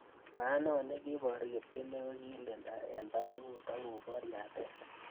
Maat neo nekiboru Kipkemei kokilida eng barakut akobor yatet